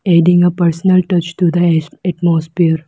Adding a personal touch to the as-atmosphere.